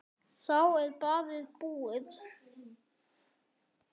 Þá er ballið búið.